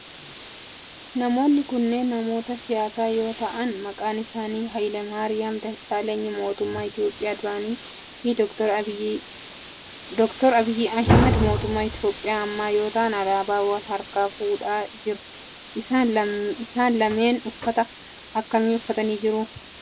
Namoonni kunneen namoota siyaasaa yoo ta'aan maqaan isaanii Hayilemaariyam Dassaaleny mootummaa Itiyoophiyaa duraanii fi Dr. Abiyi Ahimeed mootummaa Itiyoophiyaa ammaa yoo ta'aan alaabaa wal harkaa fuudhaa jiru. Isaan lameen uffata akkamii uffatanii jiru?